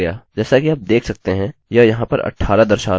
और यह 19 में बदल गया जैसा कि आप देख सकते हैं यह यहाँ पर 18 दर्शा रहा है